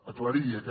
aclarir aquest